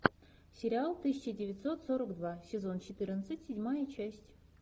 сериал тысяча девятьсот сорок два сезон четырнадцать седьмая часть